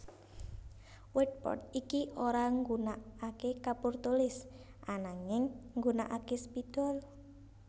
Whiteboard iki ora nggunakaké kapur tulis ananging nggunakaké spidol